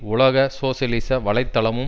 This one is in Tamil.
உலக சோசியலிச வலை தளமும்